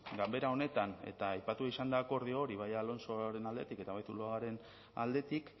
ganbera honetan eta aipatua izan da akordio hori bai alonsoren aldetik eta bai zuluagaren aldetik